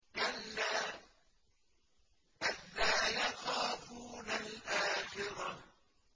كَلَّا ۖ بَل لَّا يَخَافُونَ الْآخِرَةَ